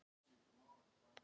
Það var Ólafur Tómasson.